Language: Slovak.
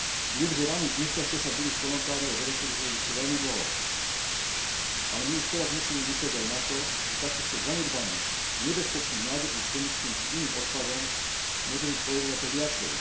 Viem, že rany z nešťastia sa budú v Kolontári a Devečeri hojiť ešte veľmi dlho, ale my už teraz musíme myslieť aj na to, že takýchto zanedbaných, nebezpečných nádrží s chemickým či iným odpadom, môže byť po Európe viacej.